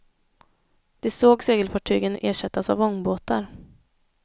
De såg segelfartygen ersättas av ångbåtar.